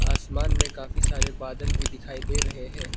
आसमान में काफी सारे बादल भी दिखाई दे रहे है।